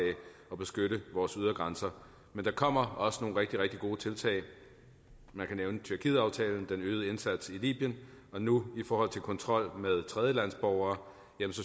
og beskytte vores ydre grænser men der kommer også nogle rigtig rigtig gode tiltag man kan nævne tyrkietaftalen den øgede indsats i libyen og nu i forhold til kontrol med tredjelandsborgere